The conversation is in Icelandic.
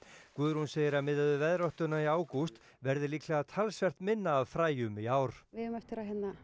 Guðrún segir að miðað við veðráttuna í ágúst verði líklega talsvert minna af fræjum í ár við eigum eftir að